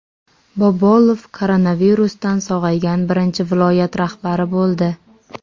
Bobolov koronavirusdan sog‘aygan birinchi viloyat rahbari bo‘ldi.